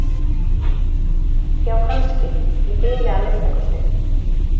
Já kannski, í bili að minnsta kosti.